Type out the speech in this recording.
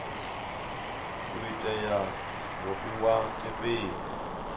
u tea u fhiwa tshifhinga